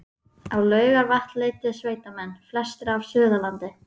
Á Laugarvatn leituðu sveitamenn, flestir af Suðurlandi